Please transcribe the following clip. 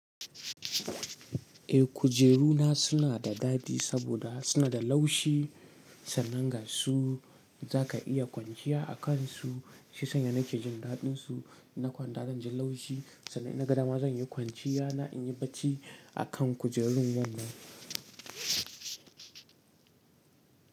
Eh kujeru na suna da dadi saboda suna da laushi sannan ga su za ka iya kwanciya a kansu. Shi ya sanya nake jin daɗinsu. In na kwanta zan ji laushi sannan innaga dama zan yi kwanciya na in yi bacci a kan kujerun wannan.